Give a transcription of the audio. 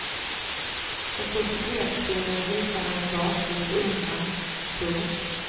För societetskvinnor hyste han en barnslig beundran. punkt